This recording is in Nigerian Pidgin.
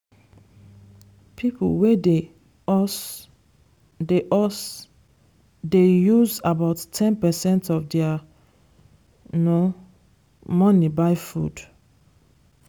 people wey dey us dey us dey use about ten percent of their money buy food.